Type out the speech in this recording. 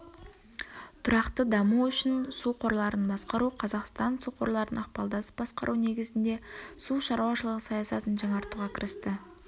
тұрақты даму үшін су қорларын басқару қазақстан су қорларын ықпалдасып басқару негізінде су шаруашылығы саясатын жаңартуға кірісті